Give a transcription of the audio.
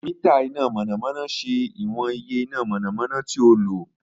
Mita ina mọnamọna ṣe iwọn iye ina mọnamọna ti o jẹ